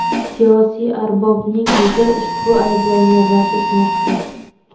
Siyosiy arbobning o‘zi ushbu ayblovni rad etmoqda.